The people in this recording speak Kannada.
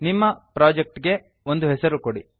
ನಿಮ್ಮ ಪ್ರಾಜೆಕ್ಟ್ ಗೆ ಒಂದು ಹೆಸರು ಕೊಡಿ